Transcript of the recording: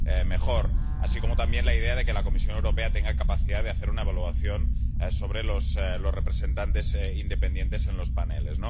mejor—, así como también a la idea de que la Comisión Europea tenga capacidad de hacer una evaluación sobre los representantes independientes en los paneles.